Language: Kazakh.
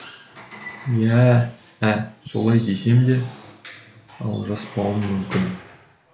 иә ә солай десем де алжаспауым мүмкін